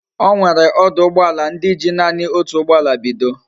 Onwere oduugboala ndi ji nani otu ugboala bido